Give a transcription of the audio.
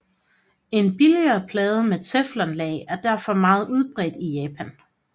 En billigere plade med teflonlag er derfor meget udbredt i Japan